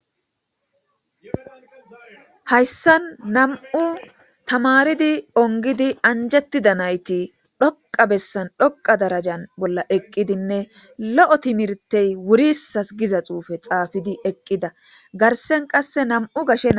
hayssan nam7u tamaridi ongidi anjettida nayti dhoqa bessan dhoqa darajan bolla eqqidinne lo7o timirtey wuri sas giza xuufe xaafidi eqqida garsen qasse nam7u gashena